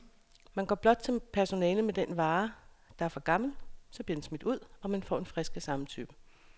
Man går blot til personalet med den vare, der er for gammel, så bliver den smidt ud, og man får en frisk af samme type.